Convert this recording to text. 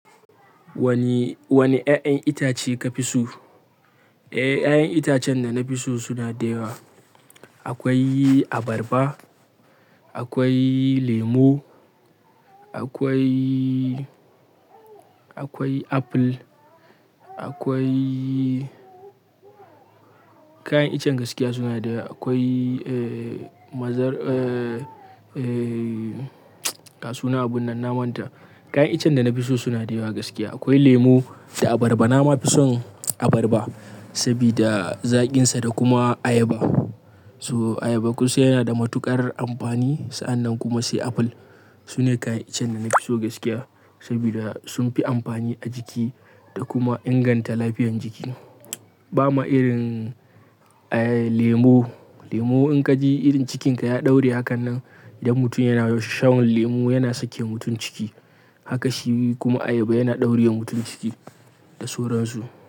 Wani, wani ya'yan itace ka fi so? Eh, ya'yan itacen da na fi so suna da yawa. Akwai abarba, akwai lemo, akwai, akwai apple, akwai kayan iccen gaskiya suna da yawa. Akwai, eh, ma-- eh, ga suna a bunnan naman ta. Kayan iccen da na fi so suna da yawa gaskiya. Akwai lemo da abarba. Na ma fi son abarba sabida zaƙinsa da kuma ayaba. So ayaba kunsan yana da matuƙar amfani. Sa'annan kuma sai apple. Su ne kayan iccen da na fi so gaskiya sabida sun fi amfani a jiki da kuma inganta lafiyan jiki. Ba ma irin, eh, lemo. Lemo in ka ji irin cikinka ya ɗaure hakanan, idan mutum yana yawan sha, lemo yana sake mutum ciki. Haka shi kuma ayaba yana ɗaure wa mutum ciki da sauran su.